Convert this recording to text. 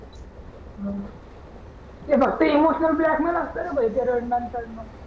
मंग ते फक्त इमोशनल ब्लॅकमेल असते रे भो ते रडणे पडणं